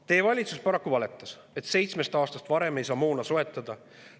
Teie valitsus paraku valetas, et kui seitsme aastaga ei saa moona soetada.